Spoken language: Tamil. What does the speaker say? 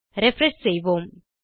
ரிஃப்ரெஷ் செய்வோம்